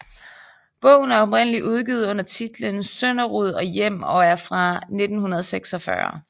Bogen er oprindeligt udgivet under titlen Sønderud og Hjem og er fra 1946